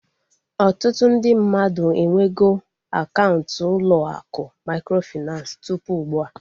Ọtụtụ ndị mmadụ enwego akaụntụ ụlọ akụ mikrofinansi tụpụ ugbua